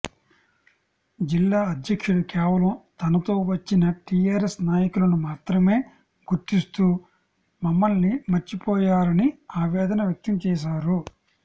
జిల్లా అధ్యక్షుడు కేవలం తనతో వచ్చిన టీఆర్ఎస్ నాయకులను మాత్రమే గుర్తిస్తూ మమ్మల్ని మర్చిపోయారని ఆవేదన వ్యక్తం చేశారు